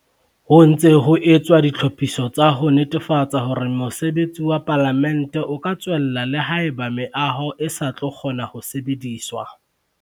Ho ntse ho etswa ditlhophiso tsa ho netefatsa hore mosebetsi wa Palamente o ka tswella le haeba meaho eo e sa tlo kgona ho sebediswa.